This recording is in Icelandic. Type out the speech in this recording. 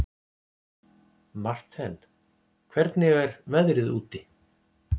Marthen, hvernig er veðrið úti?